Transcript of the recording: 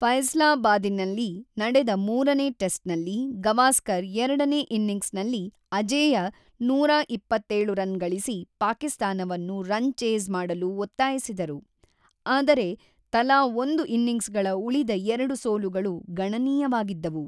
ಫೈಸಲಾಬಾದಿನಲ್ಲಿ ನಡೆದ ಮೂರನೇ ಟೆಸ್ಟ್‌ನಲ್ಲಿ, ಗವಾಸ್ಕರ್ ಎರಡನೇ ಇನ್ನಿಂಗ್ಸ್‌ನಲ್ಲಿ ಅಜೇಯ ನೂರ ಇಪ್ಪತ್ತೇಳು ರನ್ ಗಳಿಸಿ ಪಾಕಿಸ್ತಾನವನ್ನು ರನ್ ಚೇಸ್ ಮಾಡಲು ಒತ್ತಾಯಿಸಿದರು, ಆದರೆ ತಲಾ ಒಂದು ಇನ್ನಿಂಗ್ಸ್‌ಗಳ ಉಳಿದ ಎರಡು ಸೋಲುಗಳು ಗಣನೀಯವಾಗಿದ್ದವು.